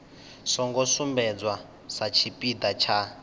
songo sumbedzwa sa tshipiḓa tsha